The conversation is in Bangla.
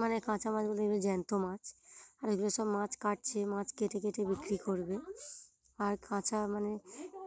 মানে কাঁচা মাছগুলো এগুলো জ্যান্ত মাছ আর এই গুলো সব মাছ কাটছে মাছ কেটে কেটে বিক্রি করবে। আর কাঁচা মানে